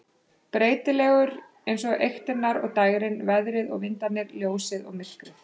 Breytilegur eins og eyktirnar og dægrin, veðrið og vindarnir, ljósið og myrkrið.